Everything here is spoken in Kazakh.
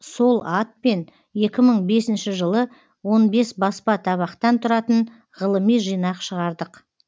сол атпен екі мың бесінші жылы он бес баспа табақтан тұратын ғылыми жинақ шығардық